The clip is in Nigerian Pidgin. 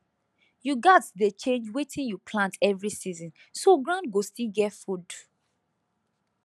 you gats dey change wetin you plant every season so ground go still get food